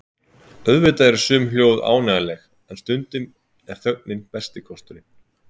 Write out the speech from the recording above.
Auðvitað eru sum hljóð ánægjuleg en stundum er þögnin besti kosturinn.